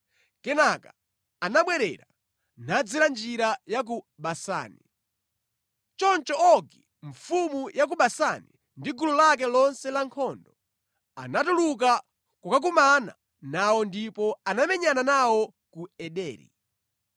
Kenaka anabwerera, nadzera njira ya ku Basani. Choncho Ogi mfumu ya ku Basani ndi gulu lake lonse lankhondo anatuluka kukakumana nawo ndipo anamenyana nawo ku Ederi.